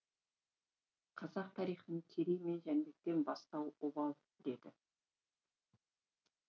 қазақ тарихын керей мен жәнібектен бастау обал деді